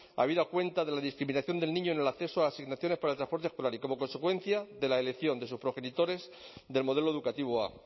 habida cuenta de la discriminación del niño en el acceso a asignaciones para el transporte escolar y como consecuencia de la elección de sus progenitores del modelo educativo a